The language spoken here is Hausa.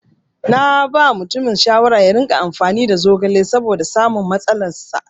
Naba mutumin shawara yaringa amfani da zogale saboda samun saukin matsalar sa.